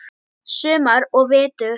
Sumar og vetur.